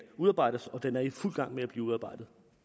udarbejdes og den er i fuld gang med at blive udarbejdet